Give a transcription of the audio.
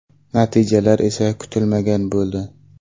Natijalar esa kutilmagan bo‘ldi.